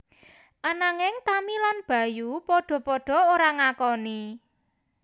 Ananging Tami lan Bayu padha padha ora ngakoni